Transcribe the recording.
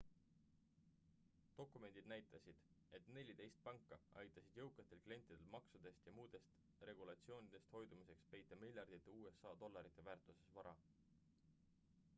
dokumendid näitasid et neliteist panka aitasid jõukatel klientidel maksudest ja muudest regulatsioonidest hoidumiseks peita miljardite usa dollarite väärtuses vara